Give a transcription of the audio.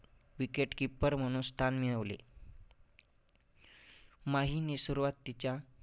Wicketkeeper म्हणून स्थान मिळवले. माहीने सुरुवातीच्या